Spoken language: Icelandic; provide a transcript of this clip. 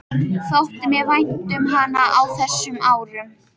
Þótti mér vænt um hana á þessum árum?